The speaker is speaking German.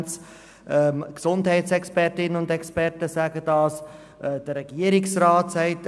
Die Gesundheitsexpertinnen und -experten sagen es, der Regierungsrat sagt es.